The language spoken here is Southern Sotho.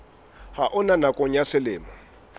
ha ona nakong ya selemo